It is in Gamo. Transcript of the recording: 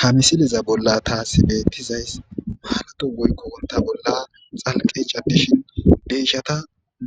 Ha misiliza bolla taasi beettizays maarato woykko worta bolla xalqe cadishin deyshata